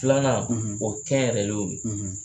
Filanan o ye kɛ yɛrɛ